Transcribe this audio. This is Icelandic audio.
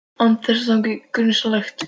Án þess að það þyki grunsamlegt.